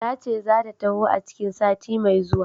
Tace zata taho a cikin sati mai zuwa.